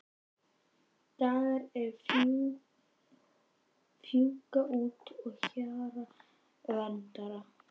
Dagar sem fjúka út að hjara veraldar.